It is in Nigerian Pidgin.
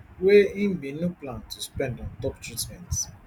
wey im bin no plan to spend ontop treatment